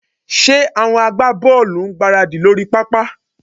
Ṣé àwọn agbábọ́ọ̀lù ń gbáradì lórí pápá?